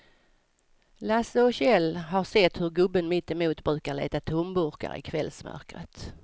Lasse och Kjell har sett hur gubben mittemot brukar leta tomburkar i kvällsmörkret.